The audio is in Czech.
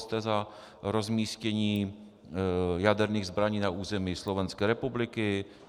Jste za rozmístění jaderných zbraní na území Slovenské republiky?